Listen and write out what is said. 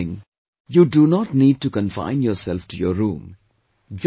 And for deep breathing you do not need to confine yourself to your room